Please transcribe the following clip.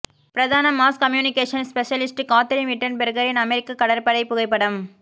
பிரதான mass communication specialist Kathryn விட்டன்பெர்கரின் அமெரிக்க கடற்படை புகைப்படம்